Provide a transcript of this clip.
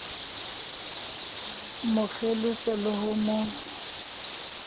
mo kgelosa le ho mo